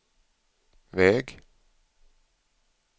väg